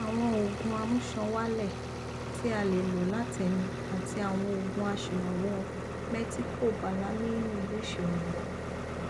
àwọn òògùn amúṣan wálè tí a lè lò látẹnu àti àwọn òògun aṣèrànwọ mẹtikọbalamíìnì lè ṣèrànwọ